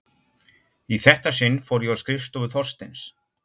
Í þetta sinn fór ég á skrifstofu Þorsteins.